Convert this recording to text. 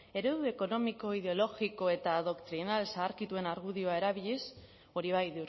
eredu ekonomiko ideologiko eta adoktrinal zaharkituen argudioa erabiliz hori bai